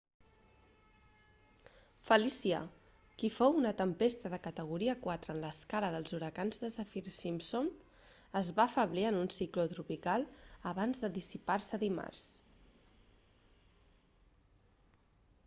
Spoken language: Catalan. felicia qui fou una tempesta de categoria 4 en l'escala dels huracans de saffir-simpson es va afeblir en un cicló tropical abans de dissipar-se dimarts